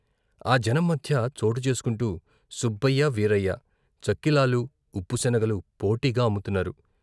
ఆ జనం మధ్య చోటు చేసుకుంటూ సుబ్బయ్య, వీరయ్య చక్కిలాలు, ఉప్పుశనగలు పోటీగా అమ్ముతున్నారు.